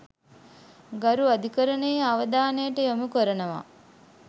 ගරු අධිකරණයේ අවධානයට යොමු කරනවා.